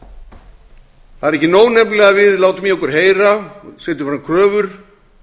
það er ekki nóg nefnilega að við látum í okkur heyra setjum fram kröfur